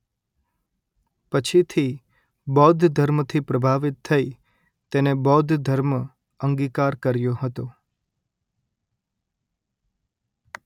પછીથી બૌદ્ધ ધર્મથી પ્રભાવિત થઇ તેને બૌદ્ધ ધર્મ અંગિકાર કર્યો હતો